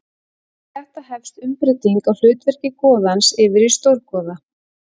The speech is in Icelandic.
Við þetta hefst umbreyting á hlutverki goðans yfir í stórgoða.